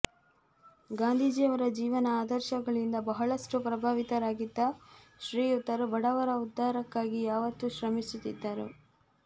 ಗಾಂಧೀಜಿಯವರ ಜೀವನ ಆದರ್ಶಗಳಿಂದ ಬಹಳಷ್ಟು ಪ್ರಭಾವಿತರಾಗಿದ್ದ ಶ್ರೀಯುತರು ಬಡವರ ಉದ್ದಾರಕ್ಕಾಗಿ ಯಾವತ್ತೂ ಶ್ರಮಿಸುತ್ತಿದ್ದರು